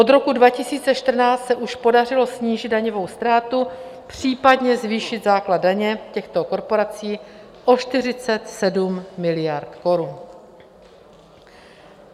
Od roku 2014 se už podařilo snížit daňovou ztrátu, případně zvýšit základ daně těchto korporací o 47 miliard korun.